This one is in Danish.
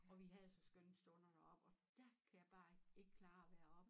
Og vi havde så skønne stunder deroppe og dér kan jeg bare ik ik klare at være oppe